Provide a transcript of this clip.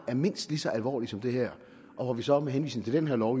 er mindst lige så alvorligt som det her og hvor vi så med henvisning til den her lov